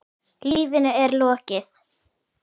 Lífinu er lokið.